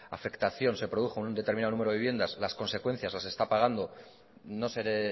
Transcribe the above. afectación se produjo en un número determinado de viviendas las consecuencias las está pagando no seré